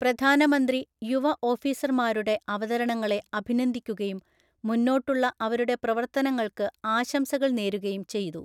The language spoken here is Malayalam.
പ്രധാനമന്ത്രി യുവഓഫീസർമാരുടെ അവതരണങ്ങളെ അഭിനന്ദിക്കുകയും, മുന്നോട്ടുള്ള അവരുടെ പ്രവർത്തനങ്ങള്‍ക്ക് ആശംസകള്‍ നേരുകയും ചെയ്തു.